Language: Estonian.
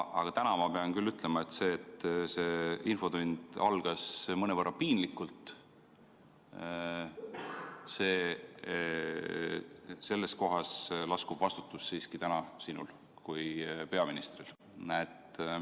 Aga täna ma pean küll ütlema, et see infotund algas mõnevõrra piinlikult, ja selle eest lasub vastutus siiski sinul kui peaministril.